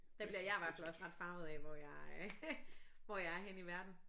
Der bliver jeg i hvert fald også ret farvet af hvor jeg øh hvor jeg er henne i verden